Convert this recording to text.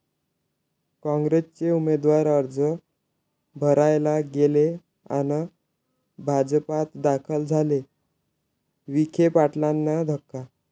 काँग्रेसचे उमेदवार अर्ज भरायला गेले अन् भाजपात दाखल झाले, विखे पाटलांना धक्का